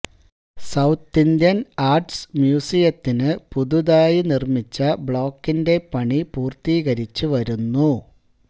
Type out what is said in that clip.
south Indian arts മ്യൂസിയത്തിന് പുതുതായി നിര്മ്മിച്ച ബ്ലോക്കിന്റെ പണി പൂര്ത്തീകരിച്ച് വരുന്നു